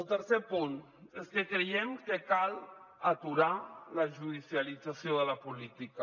el tercer punt és que creiem que cal aturar la judicialització de la política